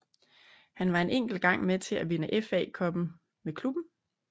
Han var en enkelt gang med til at vinde FA Cuppen med klubben